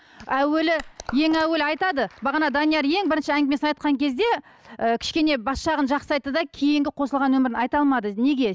әуелі ең әуелі айтады бағана данияр ең бірінші әңгімесін айтқан кезде ы кішкене бас жағын жақсы айтты да кейінгі қосылған өмірін айта алмады неге